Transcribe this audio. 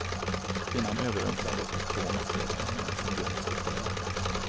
Kvinnan överrumplades av två maskerade män som gömt sig där.